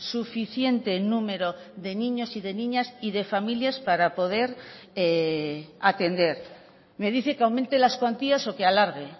suficiente número de niños y de niñas y de familias para poder atender me dice que aumente las cuantías o que alargue